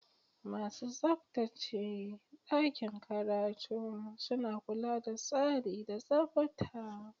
Masu tsabtace ɗakin karatu suna kula da tsari da tsabta.